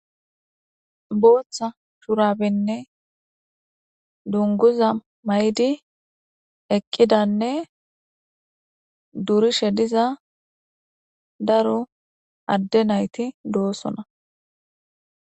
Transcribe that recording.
Booththa shurabenne dunguza maydi eqqidanne durishe diza daro adde nayti doosona.